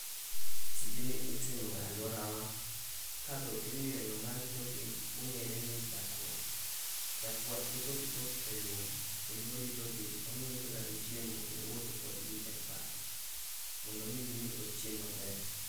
Tijni itimo e alwora wa ka dhok imiyo ng'ama rito gi mong'ere ni jakwath. Jakwath wuotho gi dhok e lum kendo rito gi ong'iyo kaka gichiemo kendo owuotho kodgi e pap, mondo mi gimi ochiem maber.